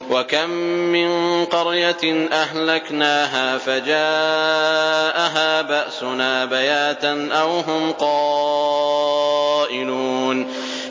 وَكَم مِّن قَرْيَةٍ أَهْلَكْنَاهَا فَجَاءَهَا بَأْسُنَا بَيَاتًا أَوْ هُمْ قَائِلُونَ